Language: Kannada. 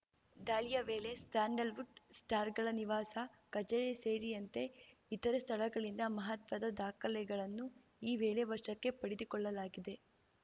ದಾಳಿಯ ವೇಳೆ ಸ್ಯಾಂಡಲ್‌ವುಡ್‌ ಸ್ಟಾರ್‌ಗಳ ನಿವಾಸ ಕಚೇರಿ ಸೇರಿಯಂತೆ ಇತರೆ ಸ್ಥಳಗಳಿಂದ ಮಹತ್ವದ ದಾಖಲೆಗಳನ್ನು ಈ ವೇಳೆ ವಶಕ್ಕೆ ಪಡೆದುಕೊಳ್ಳಲಾಗಿದೆ